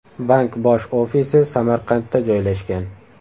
Bank bosh ofisi Samarqandda joylashgan.